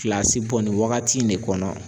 Gilasi bɔ nin wagati in de kɔnɔ